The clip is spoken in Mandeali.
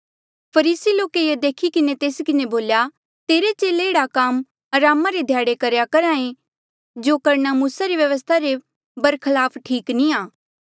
फरीसी लोके ये देखी किन्हें तेस किन्हें बोल्या तेरे चेले एह्ड़ा काम अरामा रे ध्याड़े करेया करहा ऐें जो करणा मूसा रे व्यवस्था रे बरखलाफ ठीक नी आ